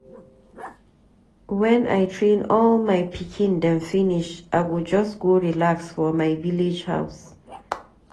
Wen I train all my pikin dem finish, I go just go relax for my village house.